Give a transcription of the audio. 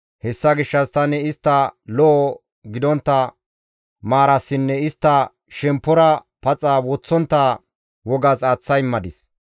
Hessa gishshas tani istta lo7o gidontta maarasinne istta shemppora paxa woththontta wogas aaththa immadis.